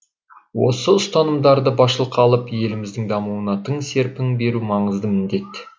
осы ұстанымдарды басшылыққа алып еліміздің дамуына тың серпін беру маңызды міндет